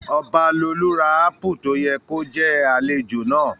Ọbalolú ra ápù tó yẹ kó jẹ́ àlejò náà